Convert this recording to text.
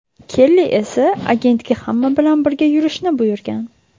Kelli esa agentga hamma bilan birga yurishni buyurgan.